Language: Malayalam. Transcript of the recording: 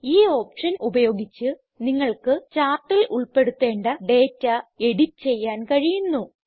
ഈ ഓപ്ഷൻ ഉപയോഗിച്ച് നിങ്ങൾക്ക് ചാർട്ടിൽ ഉൾപ്പെടുത്തേണ്ട ഡേറ്റ എഡിറ്റ് ചെയ്യാൻ കഴിയുന്നു